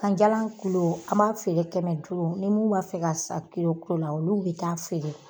Ganjalan kulo, an b'a feere kɛmɛ duuru. Ni mun b'a fɛ ka san kulo ko la olu be taa feere.